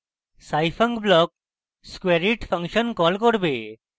scifunc block squareit function call করবে